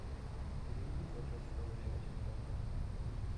переведи платеж сто рублей на телефон мой